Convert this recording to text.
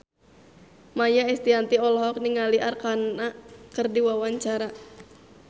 Maia Estianty olohok ningali Arkarna keur diwawancara